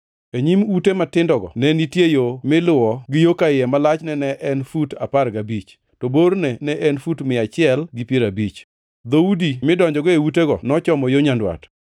E nyim ute matindogo ne nitie yo miluwo gi yo ka iye ma lachne ne en fut apar gabich, to borne ne en fut mia achiel gi piero abich. Dhoudi midonjogo e utego nochomo yo nyandwat.